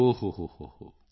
ਓ ਹੋ ਹੋ